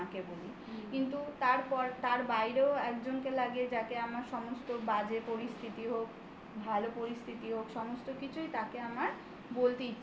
কিন্তু তারপর তার বাইরেও একজনকে লাগিয়ে যাকে আমার সমস্ত বাজে পরিস্থিতি হোক ভালো পরিস্থিতি হোক সমস্ত কিছুই তাকে আমার বলতে ইচ্ছা করে.